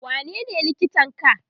wanene likitan ka?